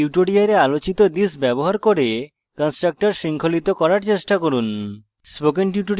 tutorial আলোচিত this ব্যবহার করে constructors শৃঙ্খলিত করার চেষ্টা করুন